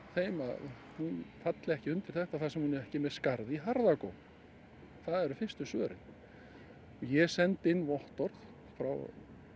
þeim að hún falli ekki undir þetta þar sem hún er ekki með skarð í harða góm ég sendi inn vottorð frá